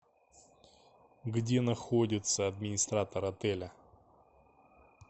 где находится администратор отеля